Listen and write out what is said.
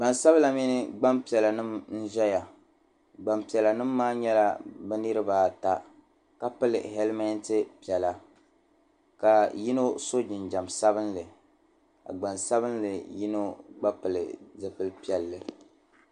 Gbansabila mini gbampiɛlanima n-ʒɛya gbampiɛlanima maa nyɛla bɛ niriba ata ka pili hɛlmɛnti piɛla ka yino so jinjam sabinli ka gbansabinli yino gba pili zupil'piɛlli.